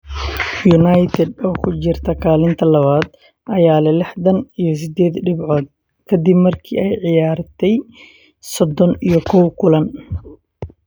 United oo ku jirta kaalinta labaad ayaa leh lixdan iyo sideed dhibcood kadib markii ay ciyaartay sodon iyo kow kulan.